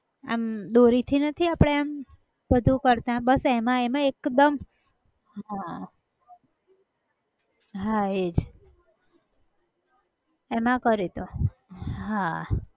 અમ દોરી થી નથી આપણે અમ બધું કરતા બસ એમાં એમાં એકદમ, હા, હા એજ, એમાં કર્યું હતું, હા.